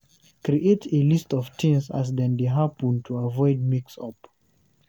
Create a list of things as dem dey happen to avoid mix up